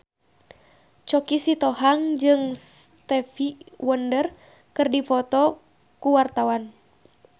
Choky Sitohang jeung Stevie Wonder keur dipoto ku wartawan